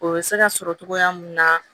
O bɛ se ka sɔrɔ cogoya mun na